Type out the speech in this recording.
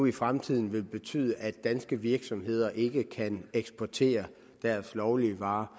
i fremtiden vil betyde at danske virksomheder ikke kan eksportere deres lovlige varer